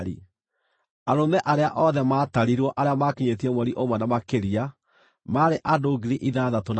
Arũme arĩa othe maatarirwo arĩa maakinyĩtie mweri ũmwe na makĩria maarĩ andũ 6,200.